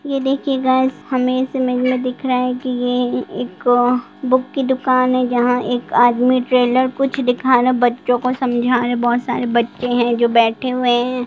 ये देखिए गाइज हमें इस इमेज में दिख रहा है ये एक बुक की दुकान है जहां एक आदमी टेलर कुछ दिखा रहा है बच्चों को समझा रहे बहुत सारे बच्चे हैं जो बैठे हुए है।